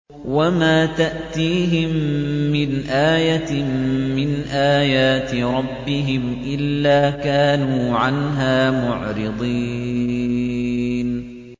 وَمَا تَأْتِيهِم مِّنْ آيَةٍ مِّنْ آيَاتِ رَبِّهِمْ إِلَّا كَانُوا عَنْهَا مُعْرِضِينَ